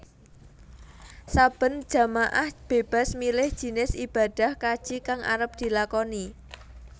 Saben jamaah bébas milih jinis ibadah kaji kang arep dilakoni